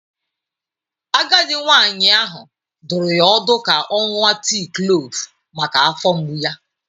Agadi nwanyị ahụ dụrụ ya ọdụ ka ọ ṅụọ tii klove maka afọ mgbu ya.